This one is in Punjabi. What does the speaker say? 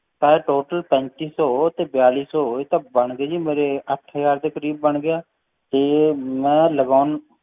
ਪੈਂਤੀ ਸੌ ਤੇ ਬੇਲੀ ਸੌ ਇਹ ਤਾਂ ਬਣ ਗਏ ਜੀ ਮੇਰੇ ਅੱਠ ਹਜ਼ਾਰ ਦੇ ਕਰੀਬ ਬਣ ਗਿਆ ਤੇ ਮੈਂ ਲਗਾਉਣ